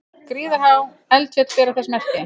Gríðarhá eldfjöll bera þess merki.